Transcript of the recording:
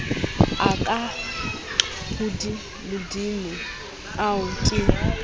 a ka hodimodimo ao ke